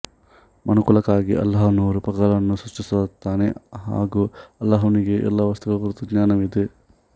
ಮನುಕುಲಕ್ಕಾಗಿ ಅಲ್ಲಾಹನು ರೂಪಕಗಳನ್ನು ಸೃಷ್ಟಿಸುತ್ತಾನೆ ಹಾಗು ಅಲ್ಲಾಹನಿಗೆ ಎಲ್ಲಾ ವಸ್ತುಗಳ ಕುರಿತು ಜ್ಞಾನವಿದೆ